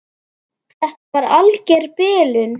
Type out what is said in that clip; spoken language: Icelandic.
Þetta var alger bilun.